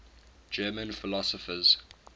german philosophers